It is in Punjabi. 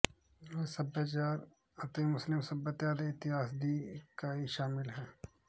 ਇਹ ਸਭਿਆਚਾਰ ਅਤੇ ਮੁਸਲਿਮ ਸਭਿਅਤਾ ਦੇ ਇਤਿਹਾਸ ਦੀ ਇਕਾਈ ਸ਼ਾਮਿਲ ਹੈ